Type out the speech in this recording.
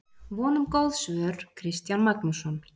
Von um góð svör, Kristján Magnússon.